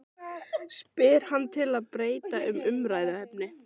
spyr hann til að breyta um umræðuefni.